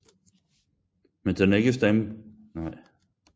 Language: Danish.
Men den er ikke stamfader til den moderne musical